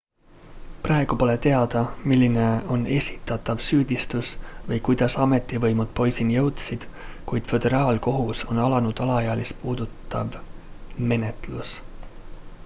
praegu pole teada milline on esitatav süüdistus või kuidas ametivõimud poisini jõudsid kuid föderaalkohtus on alanud alaealist puudutav menetlus